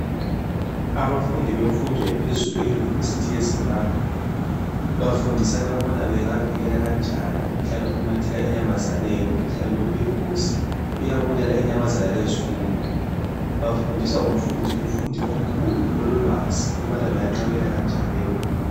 Abafundi bemfundo ephezulu e"University of Zimbabwe" bafundisana ukuba bengavikela kanjani umkhuhlane omemetheka enyamazaneni. Umkhuhlane lo uyingozi uyabulala inyamazana lezifuyo. Bafundiswa ngumfundi omkhulu ololwazi ukubana benganqabela kanjani leyo mikhuhlane.